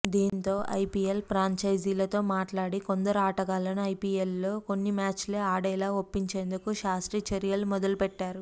దీంతో ఐపిఎల్ ఫ్రాంచైజీలతో మాట్లాడి కొందరు ఆటగాళ్లను ఐపిఎల్లో కొన్ని మ్యాచ్లే ఆడేలా ఒప్పించేందుకు శాస్త్రి చర్యలు మొదలుపెట్టారు